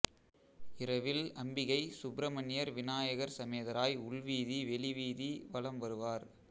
இரவில் அம்பிகை சுப்பிரமணியர் விநாயகர் சமேதராய் உள்வீதி வெளி வீதி வலம் வருவார்